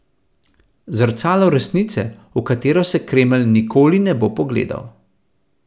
Zrcalo resnice, v katero se Kremelj nikoli ne bo pogledal.